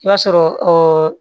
I b'a sɔrɔ